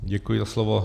Děkuji za slovo.